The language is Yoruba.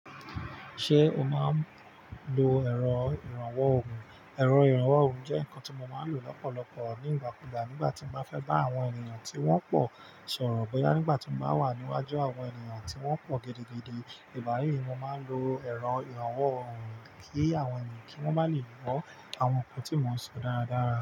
Ṣé o máa ń lo ẹ̀rọ ìrànwọ́ òrùn? Ẹ̀rọ ìrànwọ́ òrùn jẹ́ nǹkan tí mo máa ń lò lọ́pọ̀lọpọ̀ ní ìgbà kú ìgbà nígbà tí mo bá fẹ́ bá àwọn ènìyàn tí wọ́n pọ̀ sọ̀rọ̀ bóyá nígbà tí mo bá wà níwájú àwọn ènìyàn tí wọ́n pọ̀ gidigidi. Ìgbá yí ni mo máa ń lo ẹ̀rọ ìrànwọ́ òrùn kí àwọn ènìyàn kí wọ́n máa le mọ àwọn nǹkan tí mo ń sọ dáradára.